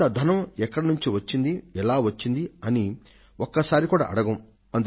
ఇంత ధనం ఎక్కడి నుండి వచ్చింది ఎలా వచ్చింది అని ఒక్కసారి కూడా అడగం